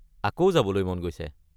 আকৌ যাবলৈ মন গৈছে।